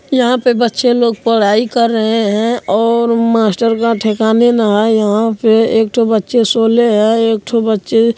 यहाँ पे बच्चे लोग पढ़ाई कर रहे हैं और मास्टर का ठिकाने ना है| यहाँ पे एक ठो बच्चे सोले है और एक ठो बच्चे --